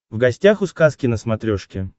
в гостях у сказки на смотрешке